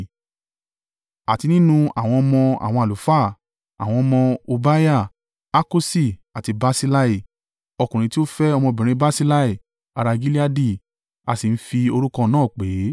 Àti nínú àwọn ọmọ àwọn àlùfáà. Àwọn ọmọ: Hobaiah, Hakosi àti Barsillai (ọkùnrin tí ó fẹ́ ọmọbìnrin Barsillai ará Gileadi a sì ń fi orúkọ náà pè é).